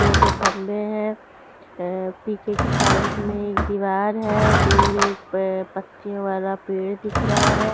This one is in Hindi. दो ठो खंबे हैं अ पीछे की साइड में एक दीवार है दूर एक प पक्षियों वाला पेड़ दिख रहा है।